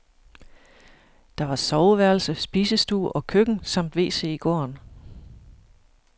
Der var soveværelse, spisestue og køkken samt wc i gården.